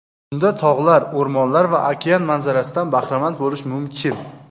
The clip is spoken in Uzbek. Unda tog‘lar, o‘rmonlar va okean manzarasidan bahramand bo‘lish mumkin.